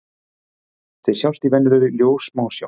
Þeir sjást í venjulegri ljóssmásjá.